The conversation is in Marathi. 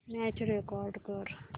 मॅच रेकॉर्ड कर